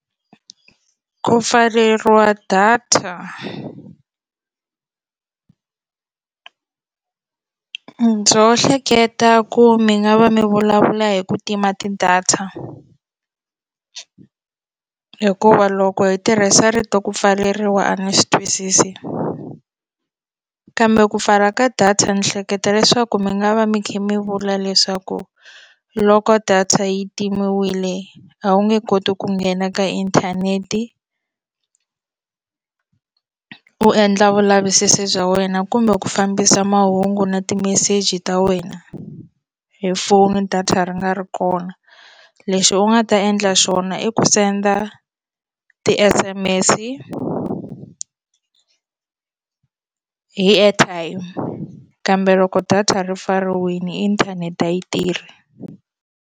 Ku pfaleriwa data ndzo hleketa ku mi nga va mi vulavula hi ku tima ti-data hikuva loko hi tirhisa rito ku pfaleriwa a ni swi twisisi kambe ku pfala ka data ni hleketa leswaku mi nga va mi kha mi vula leswaku loko data yi timiwile a wu nge koti ku nghena ka inthanete u endla vulavisisi bya wena kumbe ku fambisa mahungu na timeseji ta wena hi foni data ri nga ri kona lexi u nga ta endla xona i ku send-a ti-S_M_S-i hi airtime kambe loko data ri pfariwile inthanete a yi tirhi.